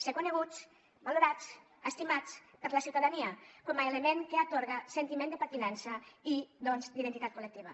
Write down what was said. ser coneguts valorats estimats per la ciutadania com a element que atorga sentiment de pertinença i doncs d’identitat col·lectiva